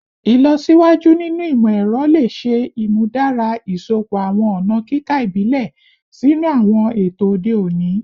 Ilọsiwaju ninu imọ-ẹrọ le ṣe imudara iṣọpọ awọn ọna kika ibile sinu awọn eto ode oni